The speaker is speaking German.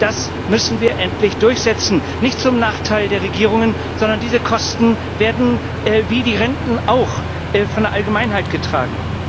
Das müssen wir endlich durchsetzen, nicht zum Nachteil der Regierungen, sondern diese Kosten werden, wie die Renten auch, von der Allgemeinheit getragen.